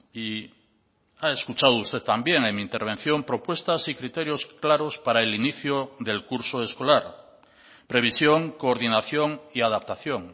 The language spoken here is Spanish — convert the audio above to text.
y ha escuchado usted también en mi intervención propuestas y criterios claros para el inicio del curso escolar previsión coordinación y adaptación